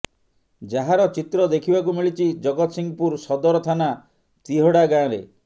ଯାହାର ଚିତ୍ର ଦେଖିବାକୁ ମିଳିଛି ଜଗତସଂହପୁର ସଦର ଥାନା ତିହଡା ଗାଁରେ